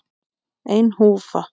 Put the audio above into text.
Ein húfa.